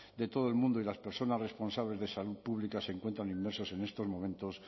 de todo el mundo y las personas responsables de salud pública se encuentran inmersas en estos momentos